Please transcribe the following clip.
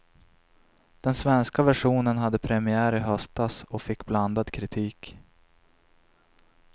Den svenska versionen hade premiär i höstas och fick blandad kritik.